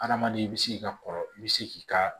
Adamaden i bi se k'i ka kɔrɔ i bi se k'i ka